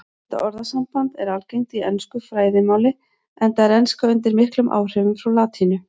Þetta orðasamband er algengt í ensku fræðimáli enda er enska undir miklum áhrifum frá latínu.